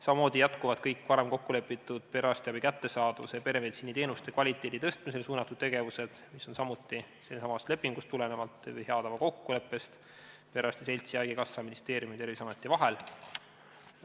Samamoodi jätkuvad kõik varem kokku lepitud perearstiabi kättesaadavusele ja peremeditsiiniteenuste kvaliteedi tõstmisele suunatud tegevused, mis tulenevad samuti sellestsamast lepingust või hea tava kokkuleppest perearstide seltsi, haigekassa, ministeeriumi ja Terviseameti vahel.